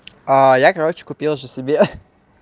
я короче купил же себе